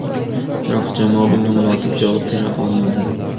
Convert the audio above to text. Biroq jamoa bunga munosib javob bera olmadi.